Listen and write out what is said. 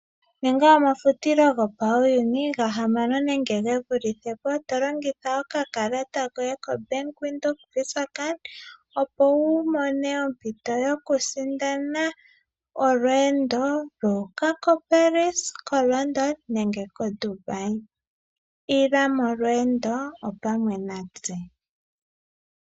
Ninga omafutilo gopauyuni gahamano nenge ge vulithe po to longitha okakalata koye koBank Windhoek koVisa, opo wu mone ompito yokusindana olweendo lu uka koParis, koLondon nenge koDubai. Ila molweendo opamwe natse.